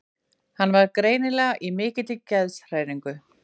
Hann var greinilega í mikilli geðshræringu.